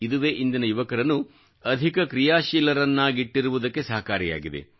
ಇದುವೇ ಇಂದಿನ ಯುವಕರನ್ನು ಅಧಿಕ ಕ್ರಿಯಾಶೀಲರನ್ನಾಗಿಟ್ಟಿರುವುದಕ್ಕೆ ಸಹಕಾರಿಯಾಗಿದೆ